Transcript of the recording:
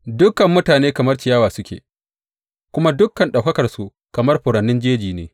Dukan mutane kamar ciyawa suke, kuma dukan ɗaukakarsu kamar furannin jeji ne.